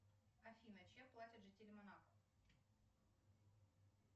афина чем платят жители монако